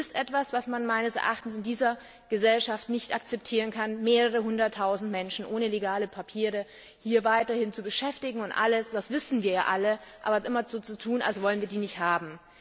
Es ist etwas, was man meines Erachtens in dieser Gesellschaft nicht akzeptieren kann mehrere Hunderttausend Menschen ohne legale Papiere hier weiterhin zu beschäftigen, aber immer so zu tun, als wollten wir sie nicht haben.